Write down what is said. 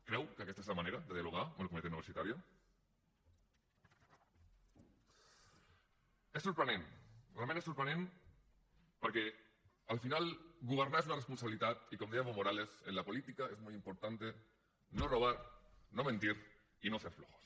creu que aquesta és la manera de dialogar amb la comunitat universitària és sorprenent realment és sorprenent perquè al final governar és una responsabilitat i com deia evo morales en la política es muy importante no robar no mentir y no ser flojos